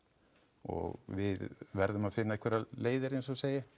og við verðum að finna einhverjar leiðir eins og ég segi